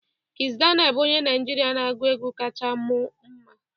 Kiss Daniel bụ onye Naịjirịa na-agụ egwu kacha mụ mma.